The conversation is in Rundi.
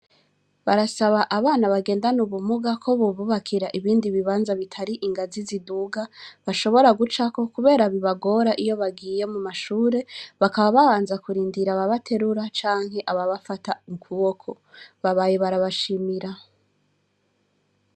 Barasaba abana bagendane ubumuga ko bububakira ibindi bibanza bitari ingazi ziduga bashobora gucako, kubera bibagora iyo bagiye mu mashure bakaba babanza kurindira aba baterura canke aba bafata ukuboko babaye barabashimira.